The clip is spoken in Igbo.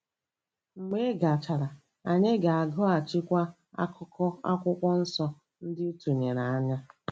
Mgbe ị gachara, anyị ga-agụghachikwa akụkụ Akwụkwọ Nsọ ndị ị tụlere anyị.